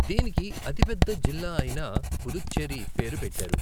దీనికి అతిపెద్ద జిల్లా అయిన పుదుచ్చేరి పేరు పెట్టారు.